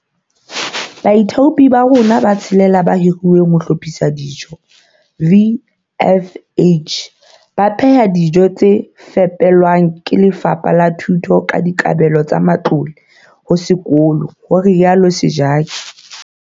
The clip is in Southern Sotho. "Baithaupi ba rona ba tshelela ba hiruweng ba hlophisang dijo, VFH, ba pheha dijo tse fepelwang ke Lefapha la Thuto ka dikabelo tsa matlole ho sekolo," ho rialo Sejake.